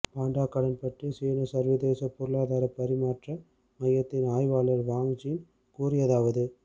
பாண்டா கடன் பற்றி சீனச் சர்வதேசப் பொருளாதாரப் பரிமாற்ற மையத்தின் ஆய்வாளர் வாங் ஜுன் கூறியதாவது